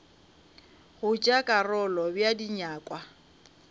go tšea karolo bea dinyakwa